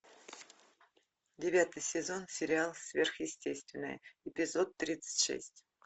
девятый сезон сериал сверхъестественное эпизод тридцать шесть